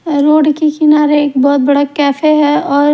road के किनारे एक बहुत बड़ा कैफे है और--